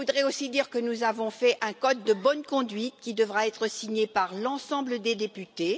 Je voudrais aussi dire que nous avons établi un code de bonne conduite qui devra être signé par l'ensemble des députés.